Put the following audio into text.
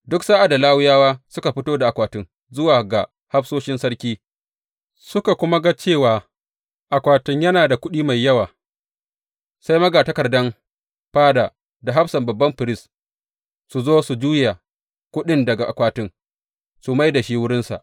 Duk sa’ad da Lawiyawa suka fito da akwatin zuwa ga hafsoshin sarki, suka kuma ga cewa akwatin yana da kuɗi mai yawa, sai magatakardan fada da hafsan babban firist su zo su juya kuɗin daga akwatin su mai da shi wurinsa.